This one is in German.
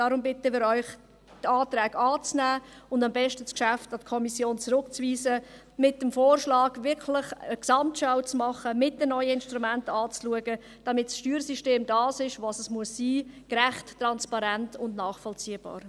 Deshalb bitten wir Sie, die Anträge anzunehmen und am besten das Geschäft der Kommission zurückzuweisen, mit dem Vorschlag eine Gesamtschau vorzunehmen und die neuen Instrumente anzuschauen, damit das Steuersystem das ist, was es sein muss: gerecht, transparent und nachvollziehbar.